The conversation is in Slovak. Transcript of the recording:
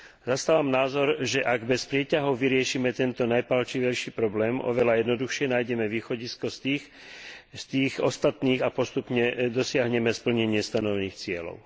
Zastávam názor, že ak bez prieťahov vyriešime tento najpálčivejší problém, oveľa jednoduchšie nájdeme východisko z tých ostatných a postupne dosiahneme splnenie stanovených cieľov.